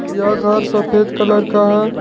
यह घर सफेद कलर का है।